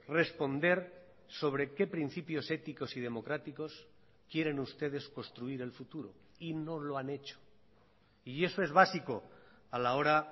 responder sobre qué principios éticos y democráticos quieren ustedes construir el futuro y no lo han hecho y eso es básico a la hora